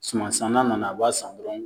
Suman san na nana , a b'a san dɔrɔn.